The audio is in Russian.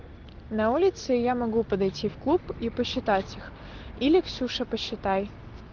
на улице я могу подойти в клуб и посчитать их или ксюша посчитай